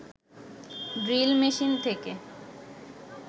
drill machine থেকে